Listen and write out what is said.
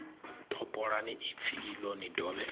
topolani ipfi iḽo ni dovhe